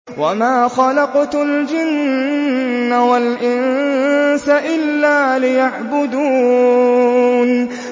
وَمَا خَلَقْتُ الْجِنَّ وَالْإِنسَ إِلَّا لِيَعْبُدُونِ